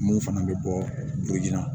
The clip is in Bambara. Mun fana bɛ bɔ na